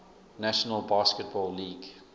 national basketball league